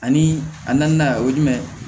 Ani a naaninan o ye jumɛn ye